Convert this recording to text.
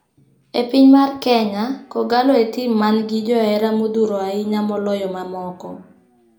E piny mar Kenya ,kogallo e tim man gi johera modhuro ahinya maloyo ma moko.